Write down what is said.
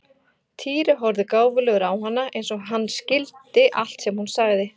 Týri horfði gáfulegur á hana eins og hann skildi allt sem hún sagði.